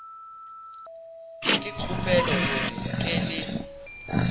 ke kgopela gore nke le